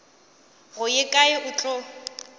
go ye kae o tla